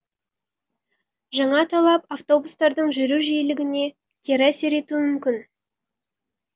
жаңа талап автобустардың жүру жиілігіне кері әсер етуі мүмкін